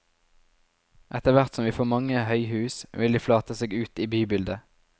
Etterhvert som vi får mange høyhus, vil de flate seg ut i bybildet.